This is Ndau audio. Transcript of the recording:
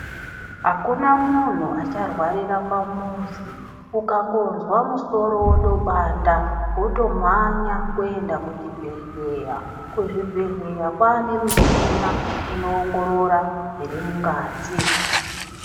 Akuna munhu acharwarira pamuzi ukangonzwa musoro wotopanda wotomhanya kuenda kuchibhehleya kwane michina inoongorora zvirimungazi.